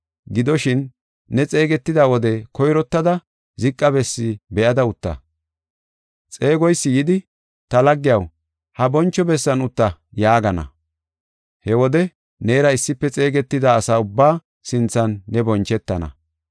Gidoshin, ne xeegetida wode koyrottada ziqa bessi be7ada utta. Xeegoysi yidi, ‘Ta laggiyaw, ha boncho bessan utta’ yaagana. He wode neera issife xeegetida asa ubbaa sinthan ne bonchetana.